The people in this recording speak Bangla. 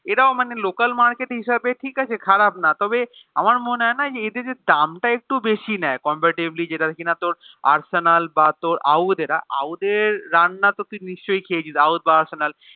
এরাও মানে Local market হিসাব ঠিকাছে খারাপ না তবে আমার মনে হয়না এদের যে দামটা একটু বেশি নিয়ে Comaparetively যেটা কিনা তোর আর্সেনাল বা ওদের ওদের রান্না তো তুই নিশ্চই খ ছিল ঔধ বা আর্সেনাল